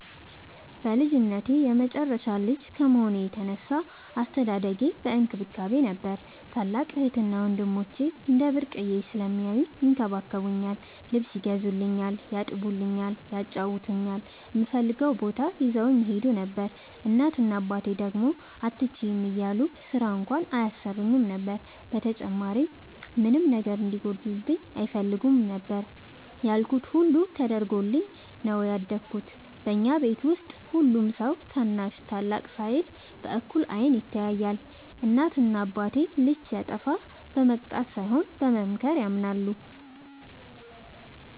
በልጅነቴ የመጨረሻ ልጅ ከመሆኔ የተነሳ አስተዳደጌ በእንክብካቤ ነበር። ታላላቅ እህትና ወንድሞቸ እንደ ብርቅየ ስለሚያውኝ ይንከባከቡኛል ,ልብስ ይገዙልኛል ,ያጥቡኛል ,ያጫውቱኛል, እምፈልገውም ቦታ ይዘውኝ ይሄዱ ነበር። እናት እና አባቴ ደግሞ አትችይም እያሉ ስራ እንኳን አያሰሩኝም ነበር። በተጨማሪም ምንም ነገር እንዲጎልብኝ አይፈልጉም ያልኩት ሁሉ ተደርጎልኝ ነው ያደኩት። በኛ ቤት ውስጥ ሁሉም ሰው ታናሽ ታላቅ ሳይል በእኩል አይን ይታያል። እናት እና አባቴ ልጅ ሲያጠፋ በመቅጣት ሳይሆን በመምከር ያምናሉ።